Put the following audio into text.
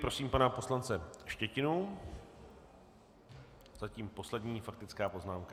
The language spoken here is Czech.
Prosím pana poslance Štětinu, zatím poslední faktická poznámka.